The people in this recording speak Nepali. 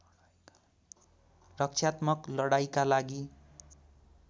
रक्षात्मक लडाईँका लागि